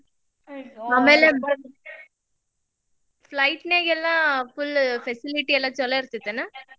Flight ನ್ಯಾಗೆಲ್ಲಾ full facility ಲ್ಲಾ ಚುಲೊ ಇರ್ತೇತೇನ?